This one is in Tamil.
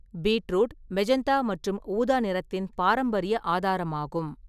பீட்ரூட் மெஜந்தா மற்றும் ஊதா நிறத்தின் பாரம்பரிய ஆதாரமாகும்.